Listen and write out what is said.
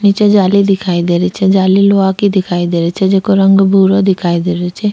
निचे जाली दिखाई दे रही छे जाली लोहा की दिखाई दे रही छ जिको रंग भूरो दिखाई दे रही छे।